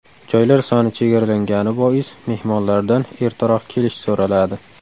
Joylar soni chegaralangani bois mehmonlardan ertaroq kelish so‘raladi.